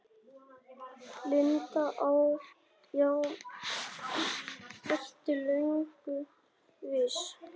Linda: Já, ertu löngu viss?